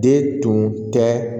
De tun tɛ